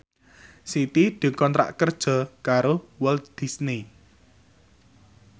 Siti dikontrak kerja karo Walt Disney